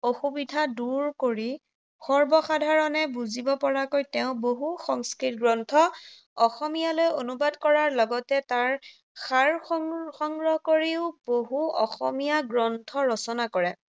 অসুবিধা দুৰ কৰি, সৰ্বসাধাৰণে বুজিব পৰাকৈ তেওঁ বহু সংস্কৃত গ্ৰন্থ অসমীয়ালৈ অনুবাদ কৰাৰ লগতে তাৰ সাৰ সং সংগ্ৰহ কৰিও বহু অসমীয়া গ্ৰন্থ ৰচনা কৰে।